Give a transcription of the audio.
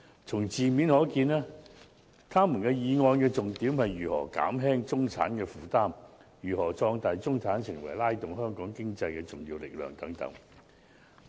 從字面可見，議員的議案重點是如何減輕中產負擔、如何壯大中產成為拉動香港經濟的重要力量等。